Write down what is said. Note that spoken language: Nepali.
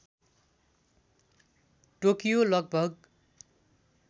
टोकियो लगभग